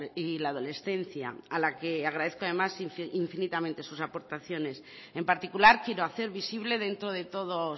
y la adolescencia a la que agradezco además infinitamente sus aportaciones en particular quiero hacer visible dentro de todos